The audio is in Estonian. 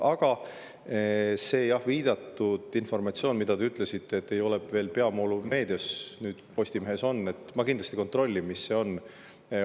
Aga see viidatud informatsioon, mille kohta te ütlesite, et see enne ei olnud peavoolumeedias, nüüd Postimehes on – ma kindlasti kontrollin, mis see on.